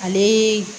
Ale